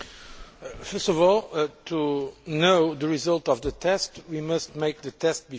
First of all, to know the result of the test we must make the test before.